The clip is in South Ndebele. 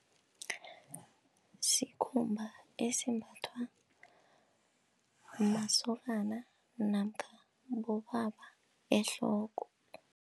Sikhumba esimbathwa masokana namkha bobaba ehloko.